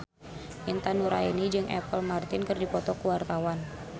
Intan Nuraini jeung Apple Martin keur dipoto ku wartawan